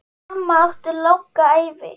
Mamma átti langa ævi.